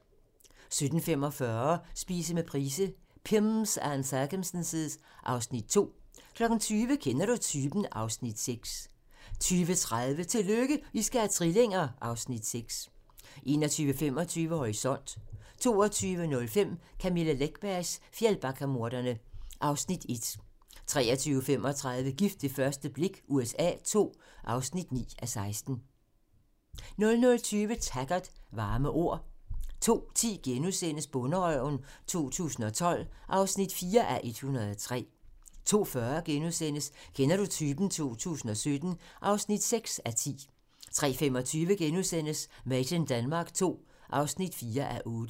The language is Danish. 17:45: Spise med Price - Pimms and circumstance (Afs. 2) 20:00: Kender du typen? (Afs. 6) 20:30: Tillykke, I skal have trillinger! (Afs. 6) 21:25: Horisont (tir) 22:05: Camilla Läckbergs Fjällbackamordene (Afs. 1) 23:35: Gift ved første blik USA II (9:16) 00:20: Taggart: Varme ord 02:10: Bonderøven 2012 (4:103)* 02:40: Kender du typen? 2017 (6:10)* 03:25: Made in Denmark II (4:8)*